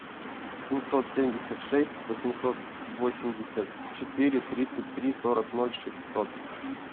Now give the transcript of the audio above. семьсот семьдесят шесть восемьсот восемьдесят четыре тридцать три сорок ноль шестьсот